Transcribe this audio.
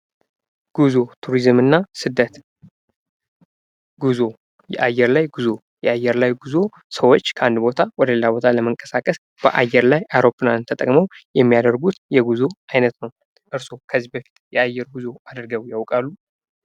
ጉዞ፣ ቱሪዝም እና ስደት ጉዞ የአየር ላይ ጉዞ የአየር ላይ ጉዞ ሰዎች ከአንድ ቦታ ወደ ሌላ ቦታ ለመንቀሳቀስ በአየር ላይ አሮፕላንን ተጠቅመው የሚያደርጉት የጉዞ አይነት ነው። እርሶ ከዚህ በፊት የአየር ጉዞ አድርገው ያውቃሉ?